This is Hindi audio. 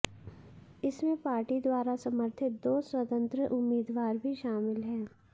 इसमें पार्टी द्वारा समर्थित दो स्वतंत्र उम्मीदवार भी शामिल हैं